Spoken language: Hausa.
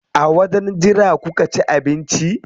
A wajen jira kuka ci abinci?